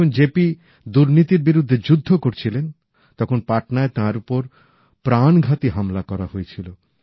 যখন জেপি দুর্নীতির বিরুদ্ধে যুদ্ধ করেছিলেন তখন পাটনায় তাঁর উপর প্রাণঘাতী হামলা করা হয়েছিল